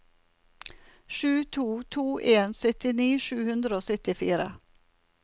sju to to en syttini sju hundre og syttifire